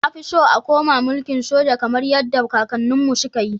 Nafi so a koma milkin soja kamar yadda kakannin mu su kayi